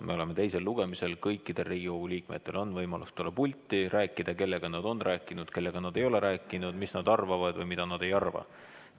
Me oleme teisel lugemisel, kõikidel Riigikogu liikmetel on võimalus tulla pulti ja rääkida, kellega nad on rääkinud, kellega nad ei ole rääkinud, mida nad arvavad ja mida nad ei arva.